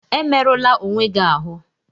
Emerụla onwe gị ahụ!